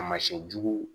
A masiyɛn jugu